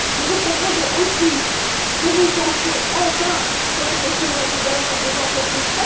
Nous vous proposons aussi de vous pencher, enfin, sur la question de la gouvernance des entreprises.